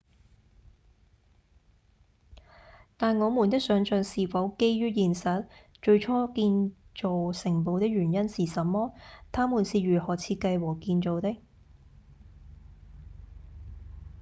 但我們的想像是否基於現實？最初建造城堡的原因是什麼？它們是如何設計和建造的？